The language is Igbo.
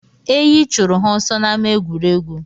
Eyi chụrụ ha ọsọ n'ámá egwuregwu